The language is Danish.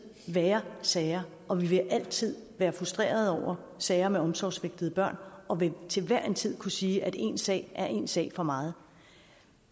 være sager og vi vil altid være frustreret over sager med omsorgssvigtede børn og vil til hver en tid kunne sige at én sag er én sag for meget